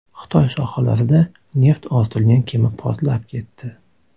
Xitoy sohillarida neft ortilgan kema portlab ketdi.